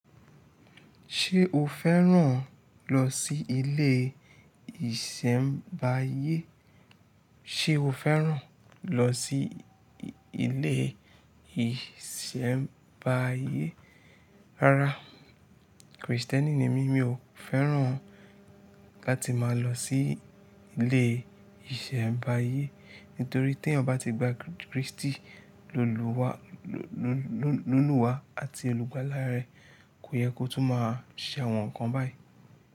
Ṣi ile isembaye so o fẹ́ràn lọ sí ilé ìṣẹ̀mbáyé? Rárá Krìstẹ́nì ni mí, mi ò fẹ́ràn ká ti máa lọ sí ilé ìṣẹ̀mbáyé nitorí tí ẹ̀yan bá ti gba Krístì loluwa. Lolúwa àti olúgbálá rẹ̀ kò yẹ kó tún máa ṣẹ̀wọ̀n kan báyìí.